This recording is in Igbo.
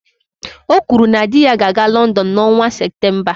O kwuru na di ya ga-aga London n'ọnwa Septemba